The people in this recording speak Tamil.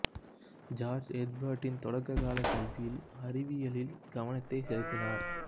ஜார்ஜ் எர்பெர்ட்டின் தொடக்க கால கல்வியில் அறிவியலில் கவனத்தை செலுத்தினார்